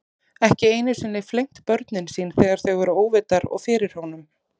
Ekki einu sinni flengt börnin sín þegar þau voru óvitar og fyrir honum.